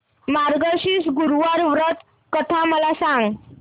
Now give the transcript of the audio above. मार्गशीर्ष गुरुवार व्रत कथा मला सांग